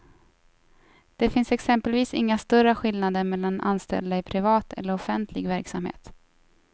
Det finns exempelvis inga större skillnader mellan anställda i privat eller offentlig verksamhet.